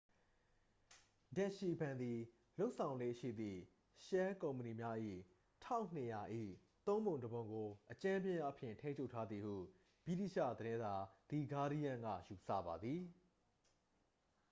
ဒက်စ်ရှီဘဏ် သည် လုပ်ဆောင်လေ့ရှိသည့် ရှဲလ်ကုမ္ပဏီများ၏ 1200၏ သုံးပုံတစ်ပုံကို အကြမ်းဖျင်းအားဖြင့် ထိန်းချုပ်ထားသည်ဟု ဗြိတိသျှသတင်းစာ သည်ဂါးဒီးရန်း က ယူဆပါသည်